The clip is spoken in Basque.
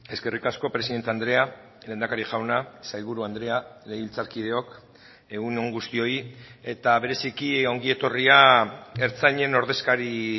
eskerrik asko presidente andrea lehendakari jauna sailburu andrea legebiltzarkideok egun on guztioi eta bereziki ongi etorria ertzainen ordezkari